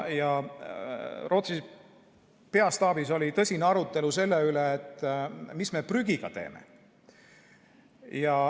Rootsi peastaabis oli tõsine arutelu selle üle, mis prügiga teha.